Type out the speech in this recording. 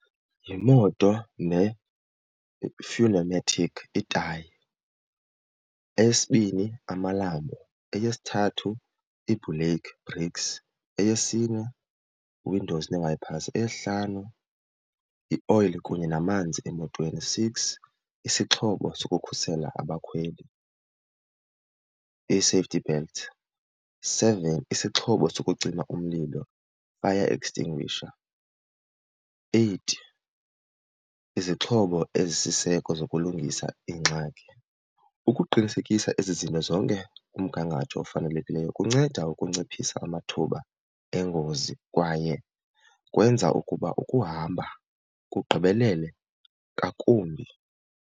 Yimoto le itayi, eyesibini amalambo, eyesithathu iibhuleyikhi, brakes. Eyesine, windows nee-wipers. Eyesihlanu, yioyile kunye namanzi emotweni. Six, isixhobo sokukhusela abakhweli, ii-safety belts. Seven, isixhobo sokucima umlilo, fire extinguisher. Eight, izixhobo ezisiseko zokulungisa iingxaki. Ukuqinisekisa ezi zinto zonke kumgangatho ofanelekileyo kunceda ukunciphisa amathuba engozi kwaye kwenza ukuba ukuhamba kugqibelele ngakumbi.